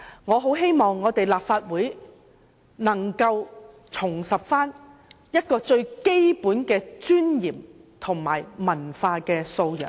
我很希望立法會能夠重拾最基本的尊嚴和文化素養。